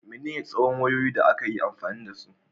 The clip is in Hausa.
Menene tsawon wayoyi da aka yi amfani da su?